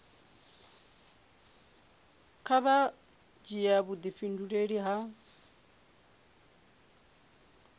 kha vha dzhia vhudifhinduleli ha